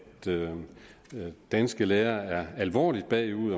danske lærere er alvorligt bagud